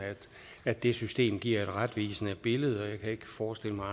at det system giver et retvisende billede jeg kan ikke forestille mig